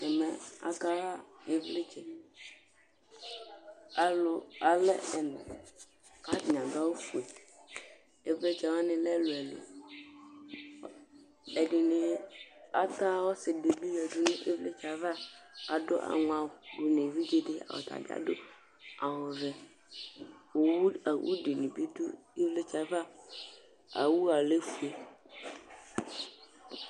Ɛmɛ akaxa ivlitsɛ, alʋ alɛ ɛna kʋ atani adʋ awʋfue Ivlitsɛwani lɛ ɛlʋ ɛlʋ Ɛdini ata ɔsidibi yadʋ nʋ ivlitsɛ ava adʋ aŋɔawʋ dʋnʋ evidzedi tabi adʋ awʋvɛ awʋdini bi dʋ ivlitsɛ yɛ ava awʋ yɛ alɛ ofue